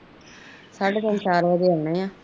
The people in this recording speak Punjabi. ਕੱਢ ਪੰਜ ਚਾਰੇ ਦੇ ਅਨੇ